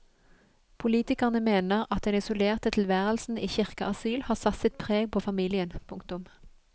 Politikerne mener at den isolerte tilværelsen i kirkeasyl har satt sitt preg på familien. punktum